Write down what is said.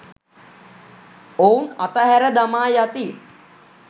ඔවුන් අතහැර දමා යති.